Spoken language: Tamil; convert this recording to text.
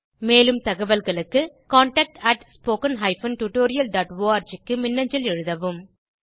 மேலும் தகவல்களுக்கு contactspoken tutorialorg க்கு மின்னஞ்சல் எழுதவும்